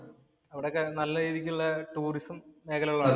അവിടെ ഒക്കെ നല്ല രീതിക്ക് ഒള്ള ടൂറിസം മേഖലകളാണ്.